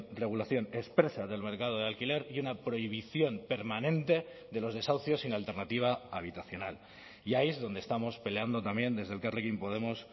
regulación expresa del mercado de alquiler y una prohibición permanente de los desahucios sin alternativa habitacional y ahí donde estamos peleando también desde elkarrekin podemos